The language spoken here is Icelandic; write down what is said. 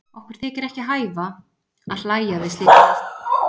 Okkur þykir ekki hæfa að hlæja við slíkar aðstæður.